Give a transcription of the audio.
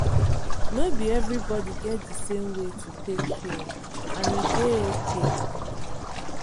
no be everybody get the same way to take heal and e dey okay